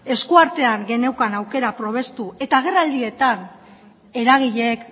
esku artean genuen aukera probestu eta agerraldietan eragileek